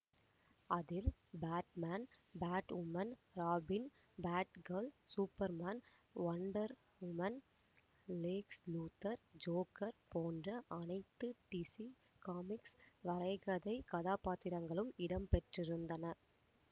அதில் Batman Batwoman Robin Batgirl Superman Wonder Woman Lex Luthor Joker போன்ற அனைத்து DC comics வரைகதை கதாப்பாத்திரங்களும் இடம்பெற்றிருந்தன